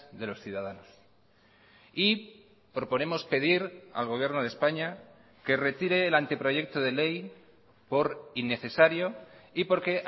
de los ciudadanos y proponemos pedir al gobierno de españa que retire el anteproyecto de ley por innecesario y porque